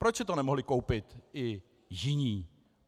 Proč si to nemohli koupit i jiní?